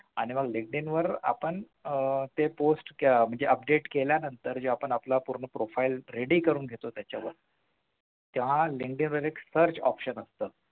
आणि मग Linkdin वर आपण आह ते post म्हणजे update केल्यानंतर जेव्हा आपण आपला पूर्ण profile ready करून घेतो त्याच्यावर त्या Linkdin मध्ये search option असतं